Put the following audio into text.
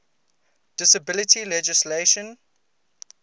disability legislation